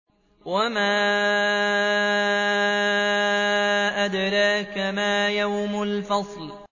وَمَا أَدْرَاكَ مَا يَوْمُ الْفَصْلِ